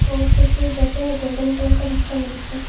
और कुछ कुछ डब्बे हैं गोल्डन कलर का ढक्कन हैं इसका।